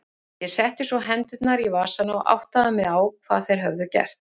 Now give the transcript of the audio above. Ég setti svo hendurnar í vasana og áttaði mig á hvað þeir höfðu gert.